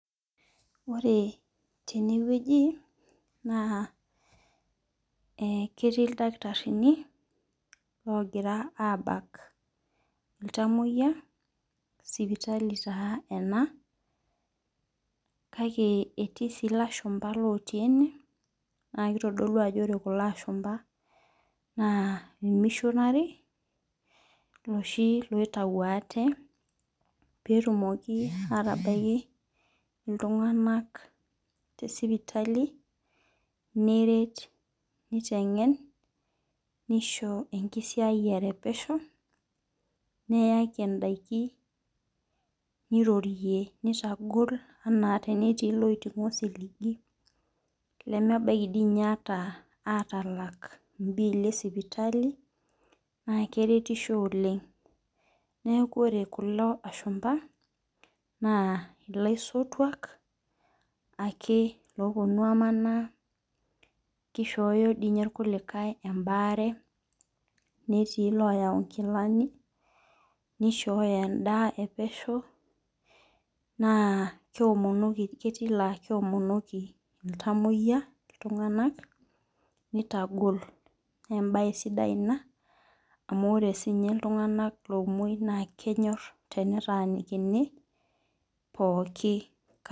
Ore tenewueji na ketii ildakitarini ogira abak iltamoyia sipitali ena mame ketii na ilashumba otii ene na kitadolu ajo ore kulo ashumba na missionary loshi oitau ate petumokibatabaki ltunganak tesipitali neret nisho ndakin nirorie nitagol ana tenetii loitingo osiligi enetii lemeidim atalak mbiili esipitali na keretisho oleng neaku ore kulo ashumba na laisotuak ake oetuo amanaa kishooyo irkulikae nkilani nishoyo endaa epesho na keomonoki ltunganak illtunganak na embae sidai ina amu ore sinye ltunganak omoi na kenyor enetanikini pooki kata.